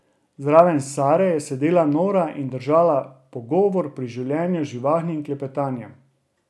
Zraven Sare je sedela Nora in držala pogovor pri življenju z živahnim klepetanjem.